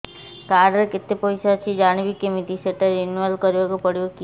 card ରେ କେତେ ପଇସା ଅଛି ଜାଣିବି କିମିତି ସେଟା ରିନୁଆଲ କରିବାକୁ ପଡ଼ିବ କି